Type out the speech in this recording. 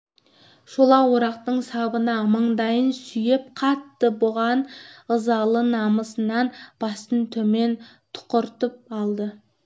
шолақ орақтың сабына мандайын сүйеп қатты буған ызалы намысынан басын төмен тұқыртып алды